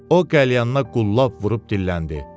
o qəlyanına qullab vurub dilləndi.